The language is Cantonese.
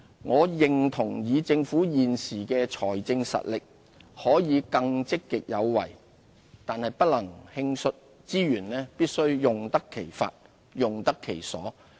我認同以政府現時的財政實力，可以更積極有為，但不能輕率，資源必須用得其法、用得其所。